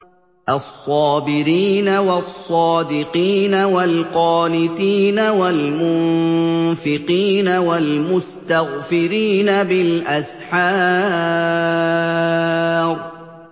الصَّابِرِينَ وَالصَّادِقِينَ وَالْقَانِتِينَ وَالْمُنفِقِينَ وَالْمُسْتَغْفِرِينَ بِالْأَسْحَارِ